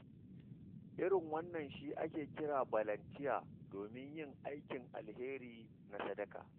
Irin wannan shi ake kira balantiya domin yin aikin alheri na sadaka.